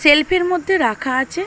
Self এর মধ্যে রাখা আছে।